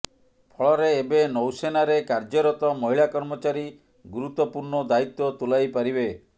ଫଳରେ ଏବେ ନୌସେନାରେ କାର୍ଯ୍ୟରତ ମହିଳା କର୍ମଚାରୀ ଗୁରୁତ୍ୱପୂର୍ଣ୍ଣ ଦାୟିତ୍ୱ ତୁଲାଇ ପାରିବେ